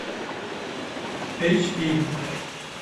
эйчпи